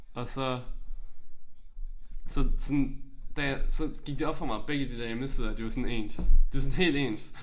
Og så så sådan da jeg så gik det op for mig begge de der hjemmesider de var sådan ens. De var helt ens